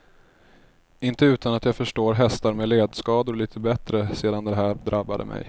Inte utan att jag förstår hästar med ledskador lite bättre sedan det här drabbade mig.